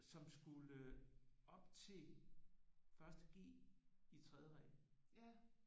Som skulle op til 1.g i tredje regel